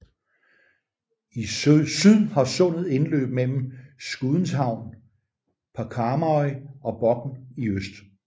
I syd har sundet indløb mellem Skudeneshavn på Karmøy og Bokn i øst